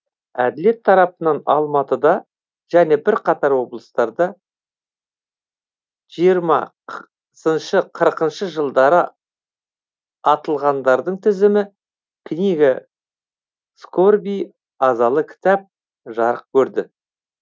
әділет тарапынан алматыда және бірқатар облыстарда жиырма сыншы қырықыншы жылдары атылғандардың тізімі книга скорби азалы кітап жарық көрді